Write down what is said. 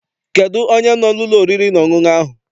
Kedụ onye no n'ụlọ oriri na ọṅụṅụ ahụ?